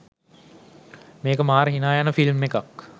මේක මාර හිනා යන ෆිල්ම් එකෙක්.